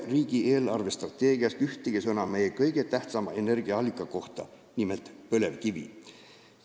Riigi eelarvestrateegias ei ole ühtegi sõna meie kõige tähtsama energiaallika, nimelt põlevkivi kohta.